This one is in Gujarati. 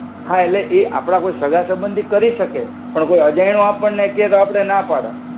હા એટ્લે ઇ આપડા કોઇ સગા સાબંધિ કરિ સકે પણ કોઇ અજઇણો આપને ક્યે તો આપડે ના પાડ